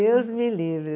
Deus me livre.